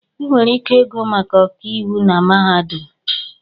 Ị nwere ike ịgụ maka ọkàiwụ na mahadum